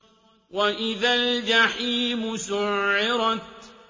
وَإِذَا الْجَحِيمُ سُعِّرَتْ